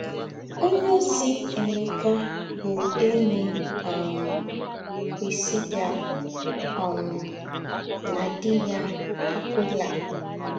Ònyéòzí Èmékà bụ́ ényí um Priscilla um na dì̄ yà, Akwìlá